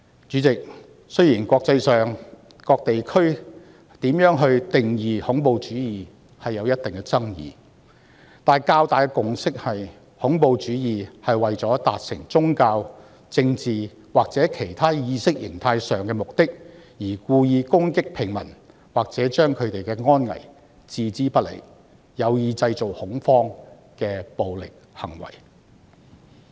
主席，雖然國際間不同地區對如何定義恐怖主義均有一定的爭議，但較大的共識是，恐怖主義是為了達成宗教、政治或其他意識形態上的目的而故意攻擊平民，或把他們的安危置之不理，有意製造恐慌的暴力行為。